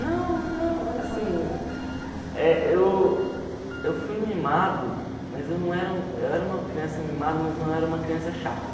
Não, não, assim, eh eu eu fui mimado, mas eu não era eu era uma criança mimada, mas eu não era uma criança chata.